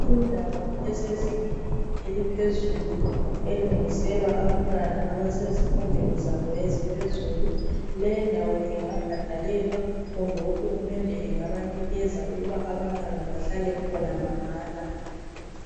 Indawo esezingeni eliphezulu elungiselwa abantwana abasezifundweni zabo eziphezulu. Leyindawo ingabhadalelwa kumbe uhulumende engabanikeza ukuba abantwana bahlale khona mahala.